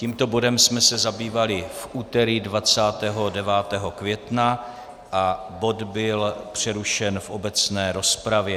Tímto bodem jsme se zabývali v úterý 29. května a bod byl přerušen v obecné rozpravě.